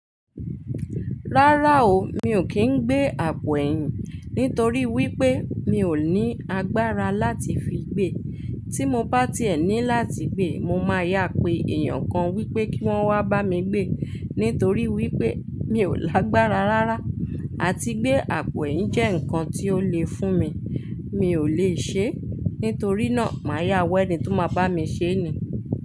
Rárá o, mi ò kí ń gbé àpò ẹ̀yìn nítorí wípé mi ò ní agbára láti fi gbé. Tí mo bá ti ẹ̀ ní láti gbé, mo máa yà pé èèyàn kan wípé kí wọ́n wá bá mi gbé nítorí wípé mi ò lágbára rárá àti gbé àpò ẹ̀yìn jẹ́ nǹkan tó le fún mi. Mi ò lèe ṣe é, nítorí náà màá yá w'eni tó máa bá mi ṣee ni.